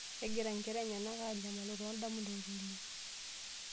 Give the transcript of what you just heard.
Kegira inkera enyenak aanyamalu too indamunot oleng.